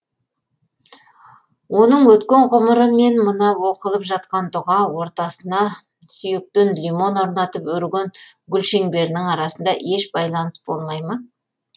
оның өткен ғұмыры мен мына оқылып жатқан дұға ортасына сүйектен лимон орнатып өрген гүлшеңберінің арасында еш байланыс болмай ма